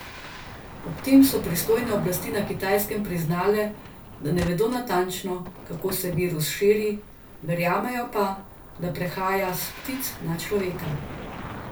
Ob tem so pristojne oblasti na Kitajskem priznale, da ne vedo natančno, kako se virus širi, verjamejo pa, da prehaja s ptic na človeka.